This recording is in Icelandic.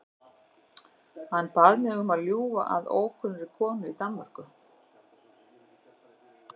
Hann bað mig um að ljúga að ókunnugri konu í Danmörku.